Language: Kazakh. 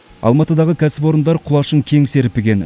алматыдағы кәсіпорындар құлашын кең серпіген